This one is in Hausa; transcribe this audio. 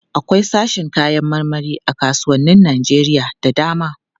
Akwai sashin kayan marmari a kasuwannin Najeriya da dama.